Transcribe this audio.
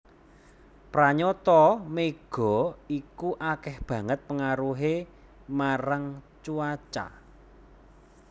Pranyata mega iku akéh banget pengaruhé marang cuaca